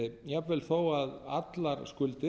jafnvel þó að allar skuldir